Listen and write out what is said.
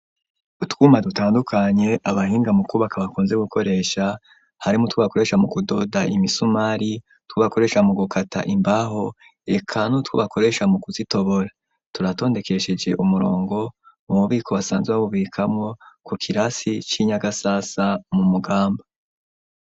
Utwuma dutandukanye abahinga mu kubaka bakunze gukoresha harimwo utwo bakoresha mu kudoda imisumari ,utwo bakoresha mu gukata imbaho reka nutwo bakoresha mu kuzitobora, turatondekesheje umurongo mu mubiko basanzwe babubikamwo ku kirasi c'inyagasasa mu mugamba.